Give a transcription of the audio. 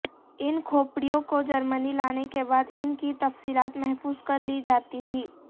ان کھوپڑیوں کو جرمنی لانے کے بعد ان کی تفصیلات محفوظ کر لی جاتی تھیں